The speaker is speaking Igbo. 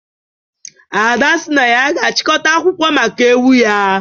Ada sị na ya ga-achịkọta akwụkwọ maka ewu ya